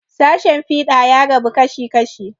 Sashen fiɗa ya rabu kashi kashi.